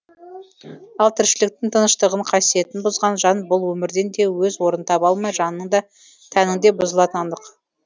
ал тіршіліктің тыныштығын қасиетін бұзған жан бұл өмірден де өз орнын таба алмай жанының да тәнінің де бұзылатыны анық